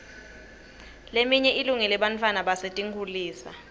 leminye ilungele bantfwana basetinkhulisa